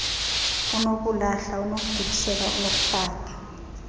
unokulahla unokugibisela unokufaka